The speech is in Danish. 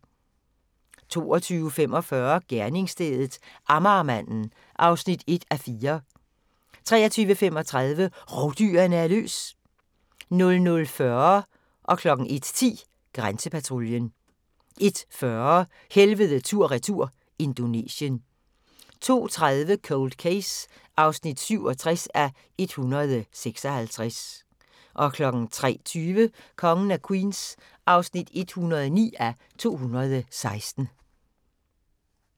22:45: Gerningsstedet – Amagermanden (1:4) 23:35: Rovdyrene er løs! 00:40: Grænsepatruljen 01:10: Grænsepatruljen 01:40: Helvede tur/retur – Indonesien 02:30: Cold Case (67:156) 03:20: Kongen af Queens (109:216)